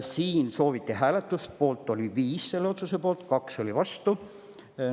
Siin sooviti hääletust ja selle otsuse poolt oli 5, vastu 2.